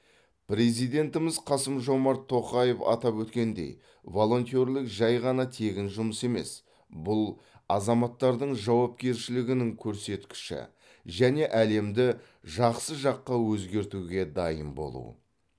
президентіміз қасым жомарт тоқаев атап өткендей волонтерлік жай ғана тегін жұмыс емес бұл азаматтардың жауапкершілігінің көрсеткіші және әлемді жақсы жаққа өзгертуге дайын болу